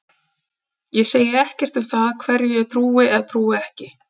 Ég segi ekkert um það hverju ég trúi eða trúi ekki.